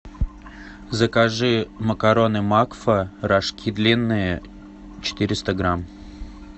закажи макароны макфа рожки длинные четыреста грамм